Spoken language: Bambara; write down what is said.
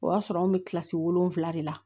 O y'a sɔrɔ an bɛ kilasi wolonwula de la